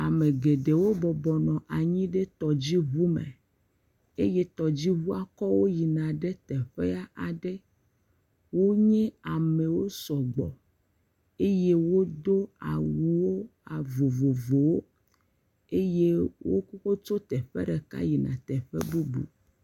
Ame geɖewo bɔbɔ nɔ anyi ɖe tɔdzuŋu me eye tɔdziŋua kɔ wo yina ɖe teƒea aɖe, wonye amewo sɔgbɔ eye wodo awuwo vovovowo eye wotso teƒe ɖeka yina ɖe teƒe bubu.